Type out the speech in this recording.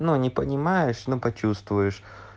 ну не понимаешь но почувствуешь